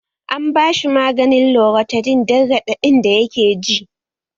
An bashi maganin loratidin dan raɗaɗin da yake ji